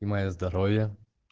и моё здоровье